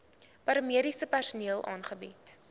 paramediese personeel aangebied